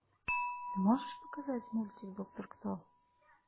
ты можешь показать мультик доктор кто